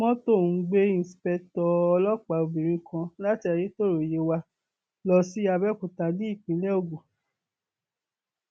mọtò ń gbé inṣìpèétò ọlọpàá obìnrin kan láti ayétọrọ yewa lọ sí àbẹọkúta ní ìpínlẹ ogun